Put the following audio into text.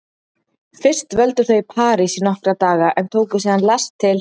Fyrst dvöldu þau í París í nokkra daga en tóku síðan lest til